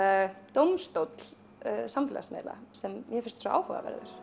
dómstóll samfélagsmiðla sem mér finnst svo áhugaverður